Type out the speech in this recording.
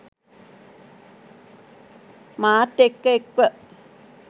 මාත් එක්ක එක්ව